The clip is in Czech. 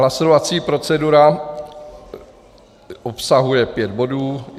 Hlasovací procedura obsahuje pět bodů.